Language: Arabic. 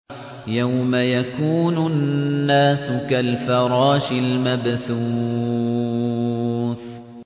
يَوْمَ يَكُونُ النَّاسُ كَالْفَرَاشِ الْمَبْثُوثِ